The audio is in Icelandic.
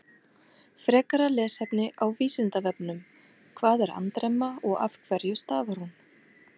Frekara lesefni á Vísindavefnum: Hvað er andremma og af hverju stafar hún?